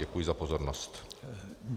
Děkuji za pozornost.